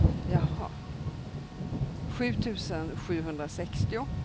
sju tusen sjuhundrasextio